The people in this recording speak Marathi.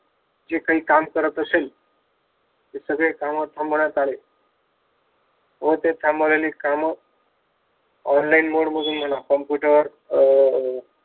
जे काही काम करत असेल, ते सगळे काम थांबवण्यात आले व ते थांबवलेली काम online mode मधून म्हणा, computer अं